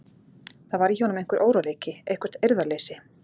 Það var í honum einhver óróleiki, eitthvert eirðarleysi.